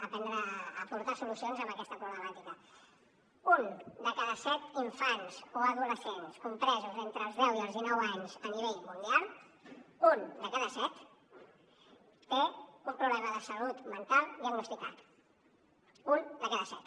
a aportar solucions a aquesta problemàtica un de cada set infants o adolescents compresos entre els deu i els dinou anys a nivell mundial un de cada set té un problema de salut mental diagnosticat un de cada set